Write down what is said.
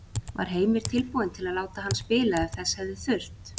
Var Heimir tilbúinn til að láta hann spila ef þess hefði þurft?